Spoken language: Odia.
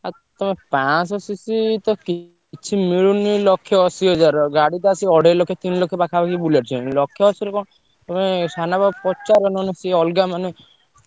ଆ ତମେ ପାଂଶହ CC ତ କିଛି ମିଳୁନି ଲକ୍ଷେ ଅଶିହଜାରର ଗାଡି ତ ଆସି ଅଢେଇଲକ୍ଷ, ତିନିଲକ୍ଷ ପାଖାପାଖି Bullet ଛୁଇଁଲାଣି ଲକ୍ଷେ ଅଶିରେ କଣ? ତମେ ସାନାପାଙ୍କୁ ପଚାର ନହେଲେ ସିଏ ଅଲଗା ମାନେ